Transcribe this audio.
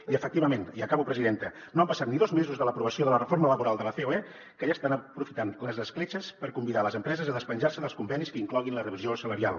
i efectivament i acabo presidenta no han passat ni dos mesos de l’aprovació de la reforma laboral de la ceoe que ja estan aprofitant les escletxes per convidar les empreses a despenjar se dels convenis que incloguin la revisió salarial